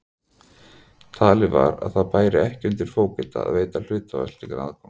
Talið var að það bæri ekki undir fógeta að veita hluthafa slíkan aðgang.